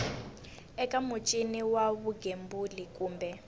eka muchini wa vugembuli kumbe